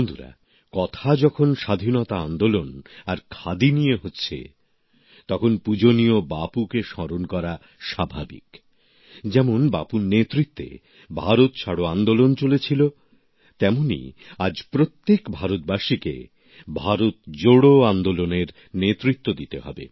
বন্ধুরা কথা যখন স্বাধীনতা আন্দোলন আর খাদি নিয়ে হচ্ছে তখন পূজনীয় বাপুকে স্মরণ করা স্বাভাবিক যেমন বাপুর নেতৃত্বে ভারত ছাড়ো আন্দোলন চলেছিল তেমনই আজ প্রত্যেক ভারতবাসীকে ভারত জোড়ো আন্দোলনের নেতৃত্ব দিতে হবে